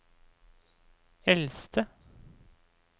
eldste